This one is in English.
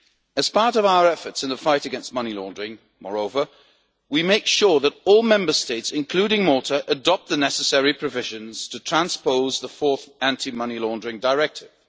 As part of our efforts in the fight against money laundering, moreover, we are making sure that all Member States, including Malta, adopt the necessary provisions to transpose the Fourth Anti-Money Laundering Directive.